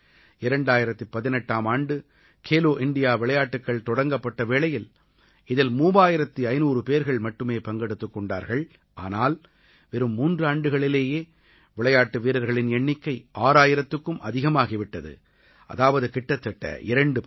2018ஆம் ஆண்டு கேலோ இண்டியா விளையாட்டுக்கள் தொடங்கப்பட்ட வேளையில் இதில் 3500 பேர்கள் மட்டுமே பங்கெடுத்துக் கொண்டார்கள் ஆனால் வெறும் மூன்றாண்டுகளிலேயே விளையாட்டு வீரர்களின் எண்ணிக்கை 6000த்துக்கும் அதிகமாகி விட்டது அதாவது கிட்டத்தட்ட இரண்டு பங்கு